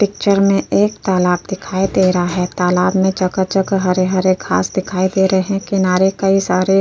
Picture मे एक तालाब दिखाई दे रहा है। तालाब मे जगह-जगह हरे-हरे घास दिखाई दे रहे हैं। किनारे कई सारे --